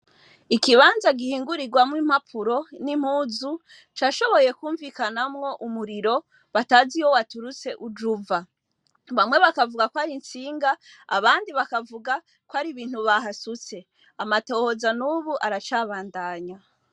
Ikibanza gihingurirwamwo impapuro n'impuzu, cashoboye kwumvikanamwo umuriro batazi iyo waturutse uje uva. Bamwe bakavuga ko ari intsinga, abandi bakavuga ko ar'ibintu bahasutse. Amatohoza n'ubu aracabandanya.